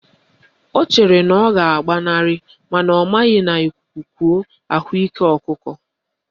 Ọ chere na ọ ga-agbanarị mana ọ maghị na ikuku kuo, ahụ ike ọkụkọ